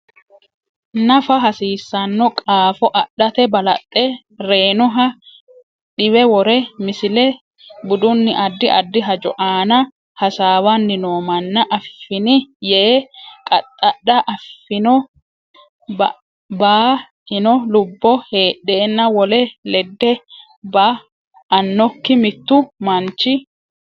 nafa hasiissanno qaafo adhate balaxe reynoha diwe wore Misile Budunni addi addi hajo aana hasaawanni noo manna affini yee qaxxadha affino ba ino lubbo heedheenna wole ledde ba annokki Mittu manchi.